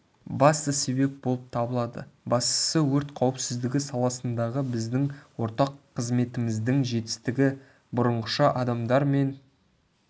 басты себеп болып табылады бастысы өрт қауіпсіздігі саласындағы біздің ортақ қызметіміздің жетістігі бұрынғыша адамдар мен